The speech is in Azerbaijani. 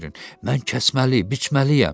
Mən kəsməli, biçməliyəm.